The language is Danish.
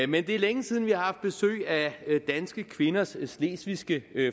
men det er længe siden vi har haft besøg af danske kvinders slesvigske